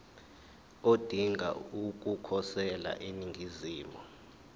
odinga ukukhosela eningizimu